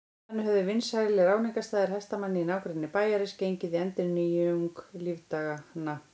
Þannig höfðu vinsælir áningarstaðir hestamanna í nágrenni bæjarins gengið í endurnýjung lífdaganna.